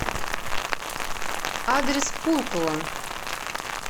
адрес пулково